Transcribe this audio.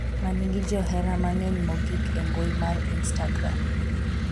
manigi johera mang'eny mogik e mbui mar instagram,